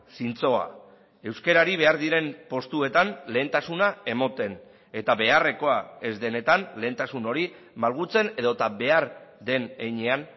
zintzoa euskarari behar diren postuetan lehentasuna ematen eta beharrekoa ez denetan lehentasun hori malgutzen edota behar den heinean